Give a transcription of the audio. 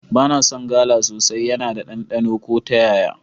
Ba na son gala sosai, yana ɗanɗano ko ta yaya.